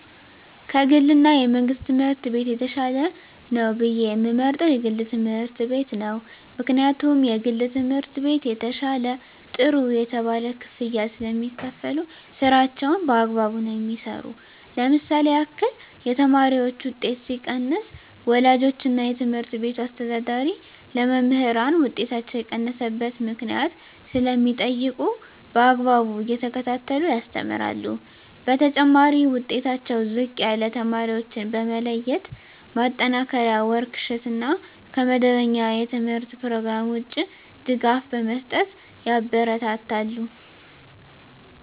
ከ ግል እና የመንግሥት ትምህርት ቤት የተሻለ ነው ብየ የምመርጠው የግል ትምህርት ቤት ነው ምክንያቱም የግል ትምህርት ቤት የተሻለ ጥሩ የተባለ ክፍያ ስለሚካፈሉ ስራቸውን በአግባቡ ነው የሚሠሩ ለምሳሌ ያክል የተማሪዎች ውጤት ሲቀንስ ወላጆች እና የትምህርት ቤቱ አስተዳዳሪ ለመምህራን ውጤታቸው የቀነሰበት ምክንያት ስለሚጠይቁ በአግባቡ እየተከታተሉ ያስተምራሉ በተጨማሪ ዉጤታቸው ዝቅ ያለ ተማሪዎችን በመለየት ማጠናከሪያ ወርክ ሽት እና ከመደበኛ የተምህርት ኘሮግራም ውጭ ድጋፍ በመስጠት ያበረታታሉ።